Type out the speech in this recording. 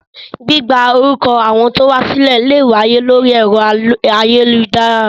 Gbígba orúkọ àwọn tí ó wá sílẹ̀ lè wáyé lórí ẹ̀rọ ayélujára